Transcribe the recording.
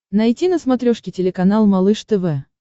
найти на смотрешке телеканал малыш тв